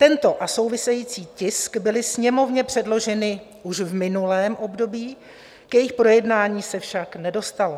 Tento a související tisk byly Sněmovně předloženy už v minulém období, k jejich projednání se však nedostalo.